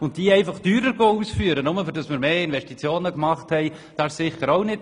Es wäre sicher auch nicht der richtige Weg, die anstehenden Arbeiten teurer auszuführen.